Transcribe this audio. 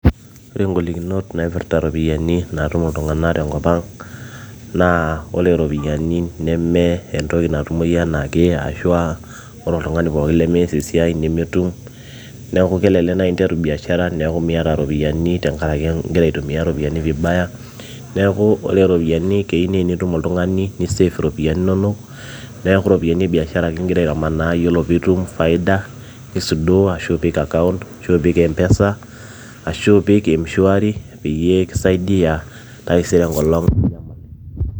ore ingolikinot naipirrta iropiyiani naatum iltung'anak tenkop ang naa ore iropiyiani neme entoki natumoyu enaake ashua ore oltung'ani pookin lemees esiai nemetum neeku kelelek naaji interu biashara neeku miata iropiyiani tenkarake ingira aitumia vibaya neeku ore iropiyiani keyieu naa enitum oltung'ani nisef iropiyiani inonok neeku ropiyiani e biashara ake ingira aitamanaa yiolo piitum faida nisudoo ashu ipik account ashu ipik mpesa ashu ipik mshwari peyie kisaidia taisere enkolong ninyamal